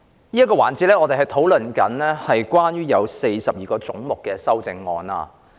這個環節我們討論有關42個總目的修正案。